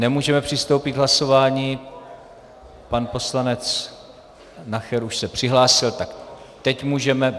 Nemůžeme přistoupit k hlasování - pan poslanec Nacher už se přihlásil, tak teď můžeme.